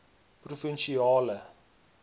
provinsiale